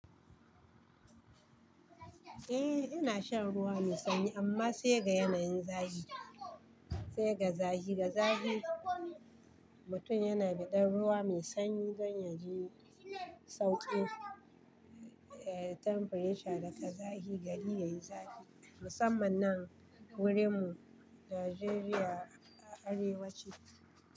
Eh, ina shan ruwa mai sanyi amma sai ga yanayin zafi. Sai ga zafi, ga zafi, mutum yana biɗan ruwa mai sanyi don ya ji sauƙi. E, temperature daga zafi gari yayi zafi musamman nan wurinmu Najeriya arewaci,